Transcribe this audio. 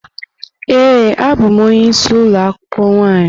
Ee, abụ m onye isi ụlọ akwụkwọ nwaanyị.